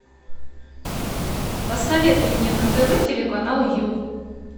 посоветуй мне на тв телеканал ю